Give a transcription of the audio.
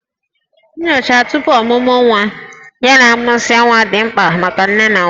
Nyocha tupu ọmụmụ nwa ya na a mụsịa nwa dị mkpa maka nne na nwa